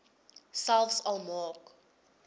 selfs al maak